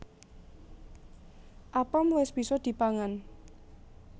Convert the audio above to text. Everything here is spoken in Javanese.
Apem wis bisa dipangan